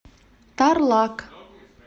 тарлак